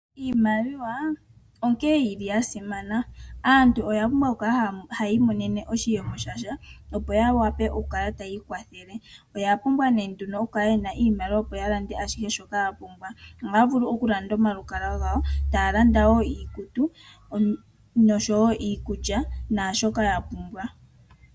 Iimaliwa onkene yili ya simana. Aantu oya pumbwa oku kala hayi imonene oshiyemo shasha opo ya wape oku kala tayi ikwathele. Oya pumbwa nee nduno opo ya kale yena iimaliwa opo ya lande ashihe shoka ya pumbwa. Ohaya vulu oku landa omalukalwa gawo, taya landa wo iikutu oshowo iikulya, naashoka ya pumbwa.